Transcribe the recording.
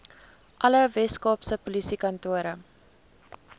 alle weskaapse polisiekantore